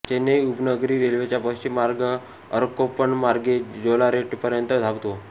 चेन्नई उपनगरी रेल्वेचा पश्चिम मार्ग अरक्कोणममार्गे जोलारपेटपर्यंत धावतो